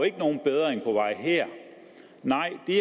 ikke nogen bedring på vej her nej det